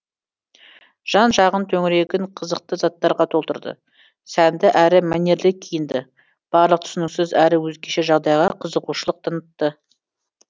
жан жағын төңірегін қызықты заттарға толтырды сәнді әрі мәнерлі киінді барлық түсініксіз әрі өзгеше жағдайға қызығушылық танытты